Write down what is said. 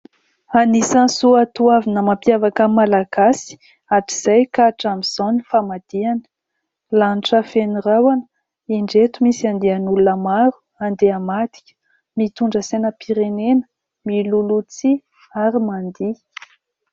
Anisan'ny soatoavina mampiavaka malagasy hatrizay ka hatramin'izao ny famadihana. Lanitra feno rahona indreto misy andian'olona maro handeha hamadika mitondra sainam-pirenena, milohaloha tsihy ary mandihy.